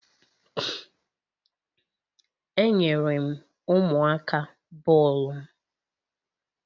Enyere m ụmụaka bọọlụ m.